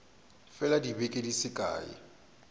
fela dibeke di se kae